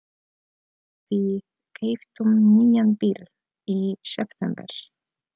Við keyptum nýjan bíl í september.